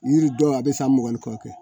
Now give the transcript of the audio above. Yiri dɔw a bɛ san mugan ni kɔ kɛ